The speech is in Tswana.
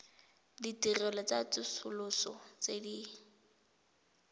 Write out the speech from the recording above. ditirelo tsa tsosoloso tse di